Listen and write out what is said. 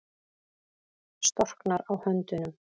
Storknar á höndunum.